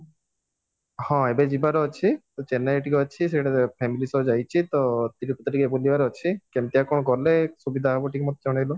ହଁ ଏବେ ଯିବାର ଅଛି ତ ଚେନ୍ନାଇରେ ଟିକେ ଅଛି family ସହ ଯାଇଚି ତ ଟିକେ ବୁଲିବାର ଅଛି କେମିତିଆ କଣ ଗଲେ ସୁବିଧା ହବ ଟିକେ ମତେ ଜଣେଇଲ